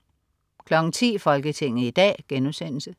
10.00 Folketinget i dag*